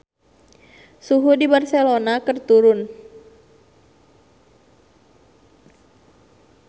Suhu di Barcelona keur turun